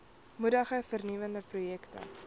moedig vernuwende projekte